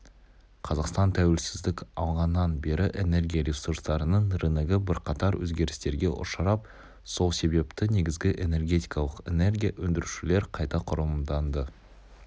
қазақстан тәуелсіздік алғаннан бері энергия ресурстарының рыногы бірқатар өзгерістерге ұшырап сол себепті негізгі энергетикалық энергия өндірушілер қайта құрылымданды